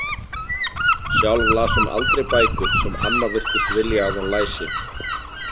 Sjálf las hún aldrei bækur sem amma virtist vilja að hún læsi.